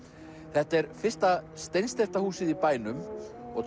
þetta er fyrsta steinsteypta húsið í bænum og